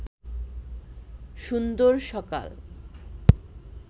সুন্দর সকাল